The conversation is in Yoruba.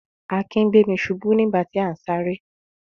Akin gbé mi ṣubú nígbà tí à ń sáré.